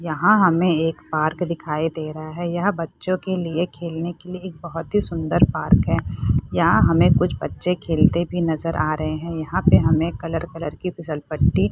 यहाँ हमे एक पार्क दिखाई दे रहा है यह बच्चों के लिए खेलने के लिए एक बहुत ही सुंदर पार्क हैं यहाँ हमे कुछ बच्चे खेलते भी नजर आ रहे हैं यहाँ पे हमे कलर कलर कि पिछलपट्टी --